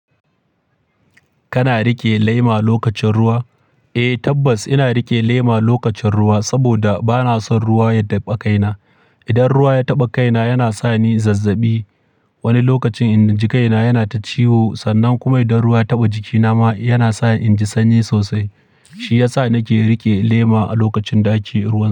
Kana riƙe lema lokacin ruwa? Eh tabbas ina riƙe lema lokacin ruwa saboda bana son ruwa ya taɓa kaina. Idan ruwa ya taɓa kaina yana sa ni zazzabi. Wani lokacin inji kaina yana ta ciwo sannan kuma idan ruwa ya taɓa jikinama yana sa in ji sanyi sosai. Shi ya sa nake riƙe lema a lokacin da, ake ruwan.